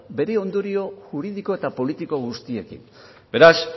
bere ondorio juridiko eta politiko guztiekin beraz